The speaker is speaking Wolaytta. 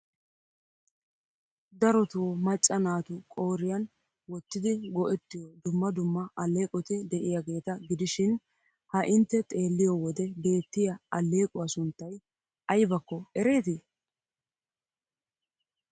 Darotoo macca naatu qooriyan wottidi go'ettiyo dumma dumma alleeqoti de'iyageeta gidishin ha intte xeelliyo wode beettiya alleequwa sunttay aybakko ereetii?